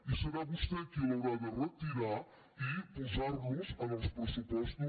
i serà vostè qui l’haurà de retirar i posar los en els pressupostos